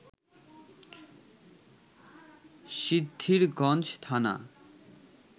সিদ্ধিরগঞ্জ থানা